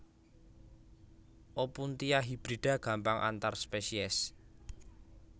Opuntia hibrida gampang antar spesies